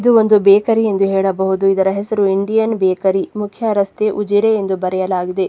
ಇದು ಒಂದು ಬೇಕರಿ ಎಂದು ಹೇಳಬಹುದು ಇದರ ಹೆಸರು ಇಂಡಿಯನ್ ಬೇಕರಿ ಮುಖ್ಯ ರಸ್ತೆ ಉಜಿರೆ ಎಂದು ಬರೆಯಲಾಗಿದೆ.